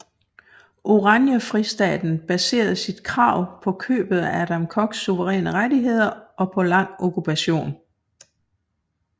Oranjefristaten baserede sit krav på købet af Adam Koks suveræne rettigheder og på lang okkupation